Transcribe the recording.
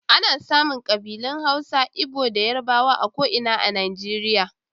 Ana samun kabilun Hausa, Igbo da Yarbawa a ko'ina a Najeriya.